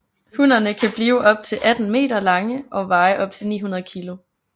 Hunnerne kan blive op til 18 meter lange og veje op til 900 kg